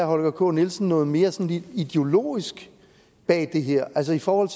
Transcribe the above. holger k nielsen noget mere sådan ideologisk bag det her altså i forhold